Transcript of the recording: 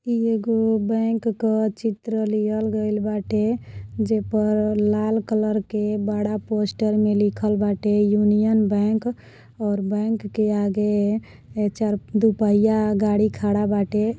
ई एगो बैंक क चित्र लियल गइल बाटे। जे पर लाल कलर के बड़ा पोस्टर में लिखल बाटे यूनियन बैंक और बैंक के आगे ए चार दूपहिया गाड़ी खड़ा बाटे।